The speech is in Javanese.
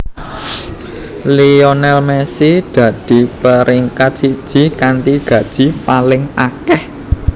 Lionel Messi dadi peringkat siji kanthi gaji paling akeh